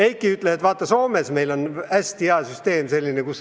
Eiki ütles, et Soomes on hästi hea süsteem.